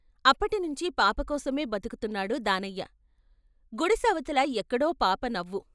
అప్పటి నుంచి పాపకోసమే బతుకు ఉన్నాడు దానయ్య, గుడిసె అవతల ఎక్కడో పాప నవ్వు.